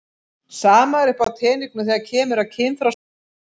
Sama er uppi á teningnum þegar kemur að kynþroskaskeiðinu.